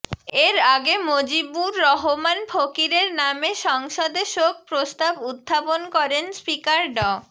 এর আগে মজিবুর রহমান ফকিরের নামে সংসদে শোক প্রস্তাব উত্থাপন করেন স্পিকার ড